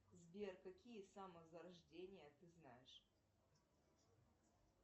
сбер какие самозарождения ты знаешь